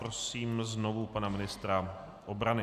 Prosím znovu pana ministra obrany.